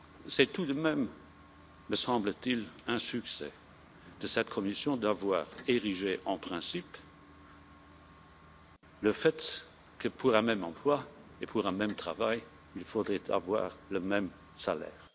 C'est tout de même, me semble t il, un succès de cette Commission d'avoir érigé en principe le fait que, pour un même emploi et pour un même travail, il faudrait avoir le même salaire.